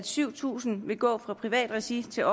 syv tusind vil gå fra privat regi til